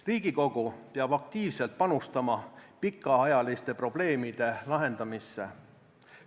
Riigikogu peab aktiivselt panustama pikaajaliste probleemide lahendamisse.